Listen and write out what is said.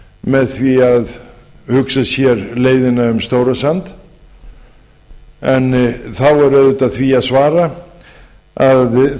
með því að hugsa sér leiðina um stórasand þá er auðvitað því að svara að